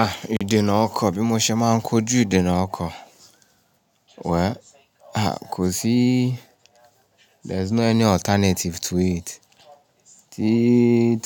Ah, ìdènà ọkọ̀ bí mo ṣe máa ń kojú ìdènà ọkọ̀. Wẹ́, ah kò síí, there is no any alternative to it. Tí